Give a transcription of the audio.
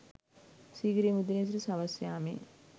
සීගිරිය මුදුනේ සිට සවස් යාමයේ